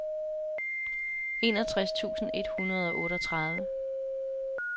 enogtres tusind et hundrede og otteogtredive